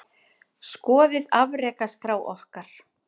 Skoðið afrekaskrá okkar